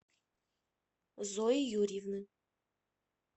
зои юрьевны